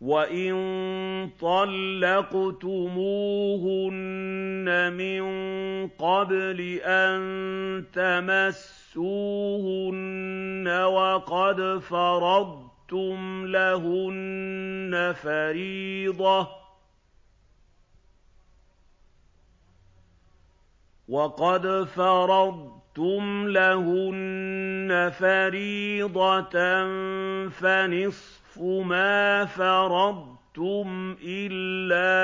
وَإِن طَلَّقْتُمُوهُنَّ مِن قَبْلِ أَن تَمَسُّوهُنَّ وَقَدْ فَرَضْتُمْ لَهُنَّ فَرِيضَةً فَنِصْفُ مَا فَرَضْتُمْ إِلَّا